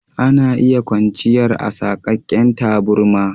Ana iya kwanchiyar a saƙaken taburma.